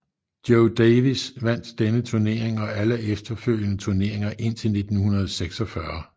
Joe Davis vandt denne turnering og alle efterfølgende turneringer indtil 1946